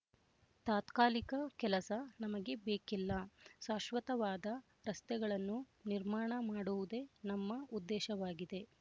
ತಾತ್ಕಾಲಿಕ ಕೆಲಸ ನಮಗೆ ಬೇಕಿಲ್ಲ ಶಾಶ್ವತವಾದ ರಸ್ತೆಗಳನ್ನು ನಿರ್ಮಾಣ ಮಾಡುವುದೇ ನಮ್ಮ ಉದ್ದೇಶವಾಗಿದೆ